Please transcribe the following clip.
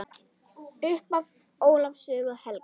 Upphaf Ólafs sögu helga.